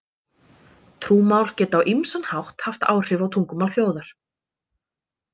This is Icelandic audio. Trúmál geta á ýmsan hátt haft áhrif á tungumál þjóðar.